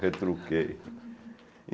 Retruquei.